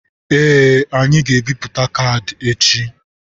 Ee, anyị ga-ebipụta kaadị echi.